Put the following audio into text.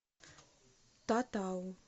татау